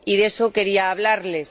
Y de eso quería hablarles.